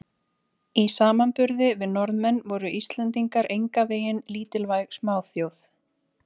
Í samanburði við Norðmenn voru Íslendingar engan veginn lítilvæg smáþjóð.